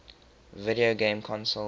video game consoles